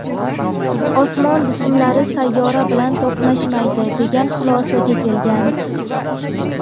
osmon jismlari sayyora bilan to‘qnashmaydi degan xulosaga kelgan.